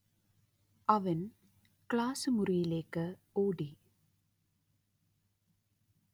അവൻ ക്ലാസ് മുറിയിലേക്ക് ഓടി